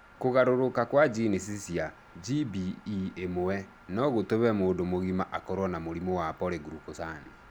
Kũgarũrũka kwa jinici cia GBE1 no gũtũme mũndũ mũgima akorũo na mũrimũ wa polyglucosan.